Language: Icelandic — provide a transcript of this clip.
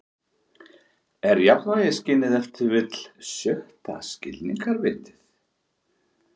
Er jafnvægisskynið ef til vill sjötta skilningarvitið?